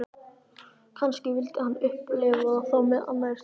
Kannski vildi hann upplifa þá með annarri stúlku.